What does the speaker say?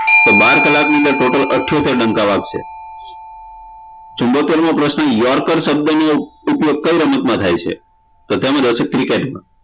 તો બાર કલાકની અંદર total અઠયોટેર ડંકા વાગશે ચુંમોતેરમો પ્રશ્ન યોઉરકર શબ્દનો ઉપયોગ કઈ રમતમાં થાય છે તો તેમાં આવશે cricket માં